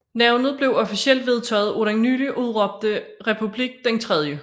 Navnet blev officielt vedtaget af den nyligt udråbte republik den 3